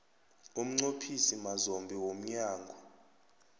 umnqophisi mazombe womnyango